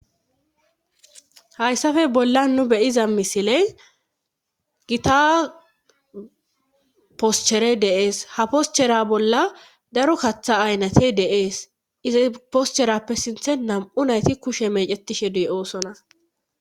hayssafe bolla nu beyiza misiley gita poschere deees ha poschera bolla daro kaththa aynate deees izi poscherappe sinthe nam7u nayti kushe mecetishe dey oosonas